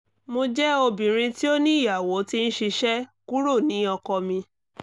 mo jẹ obinrin ti o ni iyawo ti n ṣiṣẹ kuro ni ọkọ mi